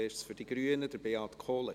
Zuerst für die Grünen, Beat Kohler.